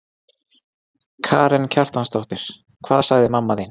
Karen Kjartansdóttir: Hvað sagði mamma þín?